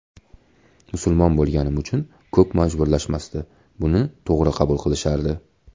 Musulmon bo‘lganim uchun ko‘p majburlashmasdi, buni to‘g‘ri qabul qilishardi”.